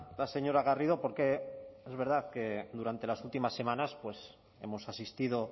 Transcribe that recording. la señora garrido porque es verdad que durante las últimas semanas hemos asistido